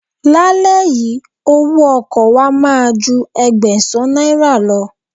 Lálẹ́ yìí, owó ọkọ̀ wa máa ju Ẹgbẹ̀sán náírà lọ.